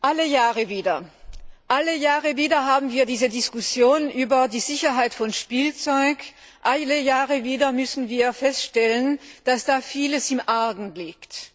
Alle Jahre wieder haben wir diese Diskussion über die Sicherheit von Spielzeug. Alle Jahre wieder müssen wir feststellen, dass da viel im Argen liegt.